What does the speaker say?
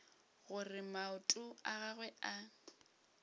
gore maoto a gagwe a